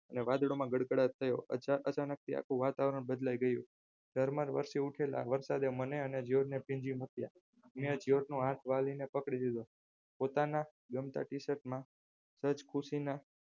'વાદળોમાં ગળગળાટ થયો અચાનકથી આખું વાતાવરણ બદલાય ગયું ધોધમાર વરસી ઉઠેલા વરસાદે મને અને જ્યોર્જ ને ભીંજવી મુક્યાં મેં જ્યોર્જનો જાતજા જાલીને પકડી લીધો પોતાના ગમતા t-shirt માં જ્યોર્જ ખુશીમાં